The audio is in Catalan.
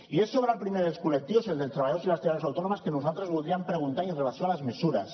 i és sobre el primer dels col·lectius el dels treballadors i les treballadores autònomes que nosaltres voldríem preguntar i amb relació a les mesures